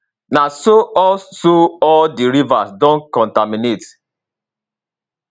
na so all so all di rivers don contaminate